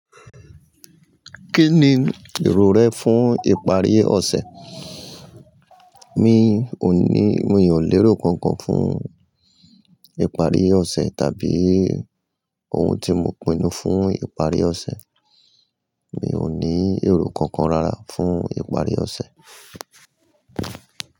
Kí ni èrò rẹ fún ìparí ọ̀sẹ̀? Mi ò ní, mi ò ní èrò kankan fún ìparí ọ̀sẹ̀ tàbí ohun tí mo pinnu fún ìparí ọ̀sẹ̀. Mi ò ní èrò kankan rárá fún ìparí ọ̀sẹ̀.